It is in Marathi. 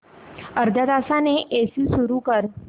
अर्ध्या तासाने एसी सुरू कर